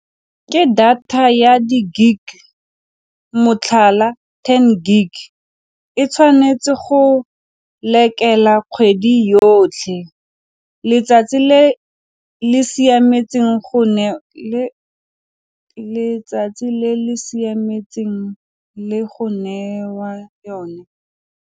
Ke data ya di-gig motlhala ten gig e tshwanetse go lekela kgwedi yotlhe letsatsi le le siametseng go ne le letsatsi le le siametseng le go newa yone.